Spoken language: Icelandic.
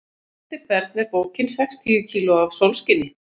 Eftir hvern er bókin Sextíu kíló af sólskini?